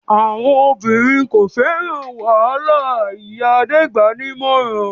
"Àwọn obìnrin kò fẹ́ràn wàhálà!" Ìyá Adé gbà á ní ìmọ̀ràn.